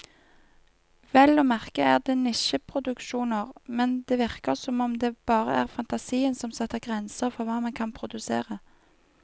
Vel å merke er det nisjeproduksjoner, men det virker som om det bare er fantasien som setter grenser for hva man kan produsere.